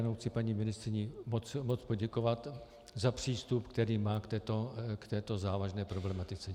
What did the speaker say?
Jenom chci paní ministryni moc poděkovat za přístup, který má k této závažné problematice.